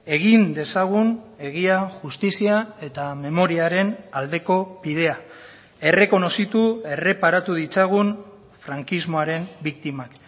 egin dezagun egia justizia eta memoriaren aldeko bidea errekonozitu erreparatu ditzagun frankismoaren biktimak